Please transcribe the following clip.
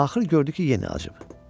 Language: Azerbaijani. Axır gördü ki, yenə acıb.